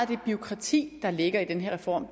det bureaukrati der ligger i den her reform